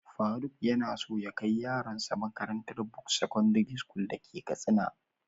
Faruk yanaso ya kai yaron sa makarantar buks secondary school dake katsina.